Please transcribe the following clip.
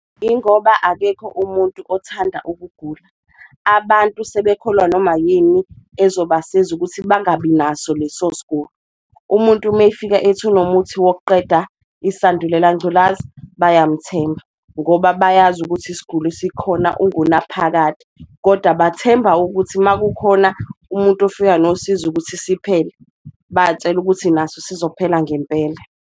Ingoba akekho umuntu othanda ukugula, abantu sebekholwa noma yini ezobasiza ukuthi bangabi naso leso sgulo, umuntu mefika ethi unomuthi wokuqeda isandulela ngculaza bayamthemba ngoba bayazi ukuthi isigulo esikhona ungunaphakade. Koda bathemba ukuthi makukhona umuntu ofika nosizo ukuthi siphele, batshela ukuthi naso sizophela ngempela.